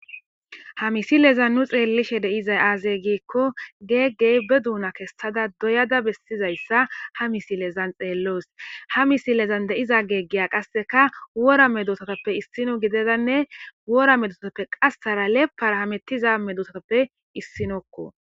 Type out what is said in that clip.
Ha misilezan nu xeellishe deizay aazey giikko geeggey be duuna kessada doyada bessizayssa ha misilezan xeelloos ha misilezan de7iza geeggeya qasseka wora medosotoppe issino gidezanne wora medosooppe qassara leparahamettiza medosooppe issinokko.